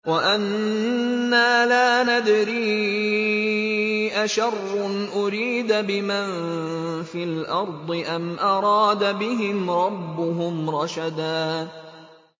وَأَنَّا لَا نَدْرِي أَشَرٌّ أُرِيدَ بِمَن فِي الْأَرْضِ أَمْ أَرَادَ بِهِمْ رَبُّهُمْ رَشَدًا